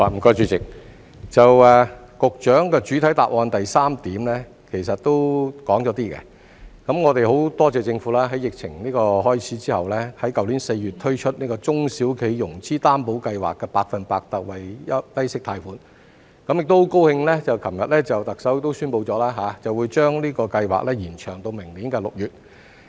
局長的主體答覆第三部分其實也說了一部分，我們很多謝政府在疫情開始後，在去年4月推出中小企融資擔保計劃的百分百特惠低息貸款，亦很高興昨天特首宣布會把這個計劃延長到明年6月。